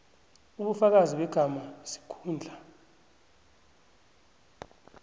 ubufakazi begama isikhundla